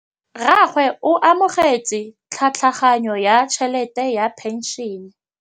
Rragwe o amogetse tlhatlhaganyô ya tšhelête ya phenšene.